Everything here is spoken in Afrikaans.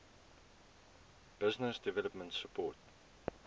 business development support